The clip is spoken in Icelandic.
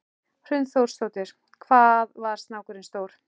Hrund Þórsdóttir: Hvað var snákurinn stór?